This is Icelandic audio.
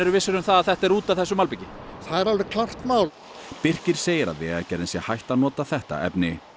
vissir um að þetta er út af þessu malbiki það er alveg klárt mál Birkir segir að Vegagerðin sé hætt að nota þetta efni